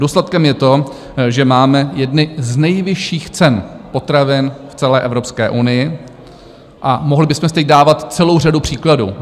Důsledkem je to, že máme jedny z nejvyšších cen potravin v celé Evropské unii, a mohli bychom si teď dávat celou řadu příkladů.